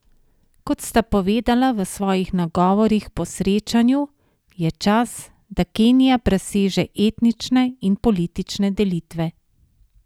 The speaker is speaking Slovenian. Kot sta povedala v svojih nagovorih po srečanju, je čas, da Kenija preseže etnične in politične delitve.